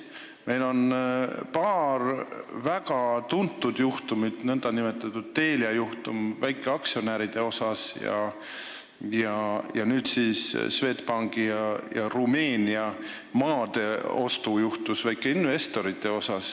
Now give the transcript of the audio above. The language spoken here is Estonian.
Meil on olnud paar väga tuntud juhtumit, nn Telia väikeaktsionäride juhtum ja nüüd siis Swedbankis väikeinvestorite juhtum, Rumeenia maade ostu juhtum.